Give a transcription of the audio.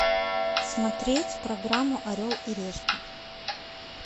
смотреть программу орел и решка